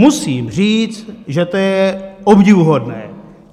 Musím říct, že to je obdivuhodné.